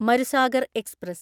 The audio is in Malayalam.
മരുസാഗർ എക്സ്പ്രസ്